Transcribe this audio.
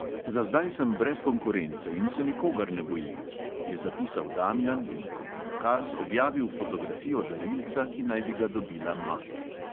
"Za zdaj sem brez konkurence in se nikogar ne bojim," je zapisal damjan in kot dokaz objavil fotografijo darilca, ki naj bi ga dobila maja.